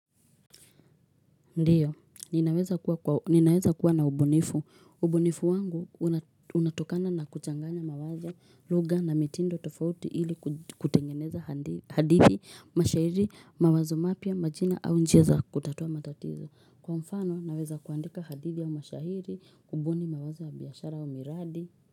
Ndio, ninaweza kuwa na ubunifu. Ubunifu wangu unatokana na kuchanganya mawazo, lugha na mitindo tofauti ili kutengeneza hadithi, mashahiri, mawazo mapya, majina au njia za kutatua matatizo. Kwa mfano, naweza kuandika hadithi ya mashahiri, kubuni, mawazo ya biashara au miradi.